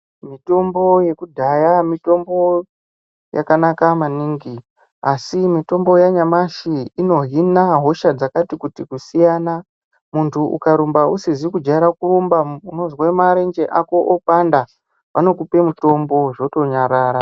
Mitombo yekudhaya mitombo yakanaka maningi, asi mitombo yanyamashi inohina hosha dzakati kuti kusiyana. Muntu ukarumba usizi kujaira kurumba, unozwe marenje ako opanda, anokupe mutombo zvotonyarara.